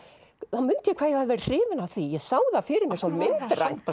mundi ég hvað ég hafði hrifin af því ég sá það fyrir mér svo myndrænt